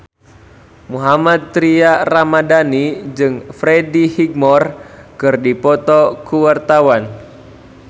Mohammad Tria Ramadhani jeung Freddie Highmore keur dipoto ku wartawan